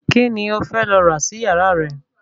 Kíni ó fẹ́ lọ rà sí ìyàra rẹ̀?